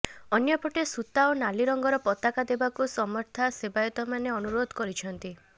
ଅନ୍ୟ ପଟେ ସୂତା ଓ ନାଲି ରଙ୍ଗର ପତାକା ଦେବାକୁ ସମର୍ଥା ସେବାୟତମାନେ ଅନୁରୋଧ କରିଛନ୍ତି